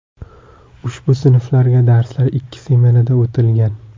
Ushbu sinflarga darslar ikki smenada o‘tilgan.